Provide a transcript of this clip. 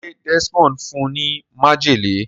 ṣe Desmond fún ní májèlé?